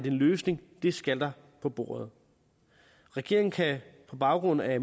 en løsning skal der på bordet regeringen kan på baggrund af